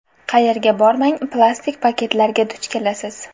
Qayerga bormang plastik paketlarga duch kelasiz.